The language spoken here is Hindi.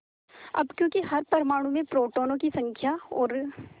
अब क्योंकि हर परमाणु में प्रोटोनों की संख्या और